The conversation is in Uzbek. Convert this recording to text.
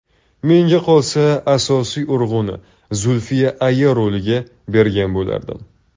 Menga qolsa, asosiy urg‘uni Zulfiya aya roliga bergan bo‘lardim.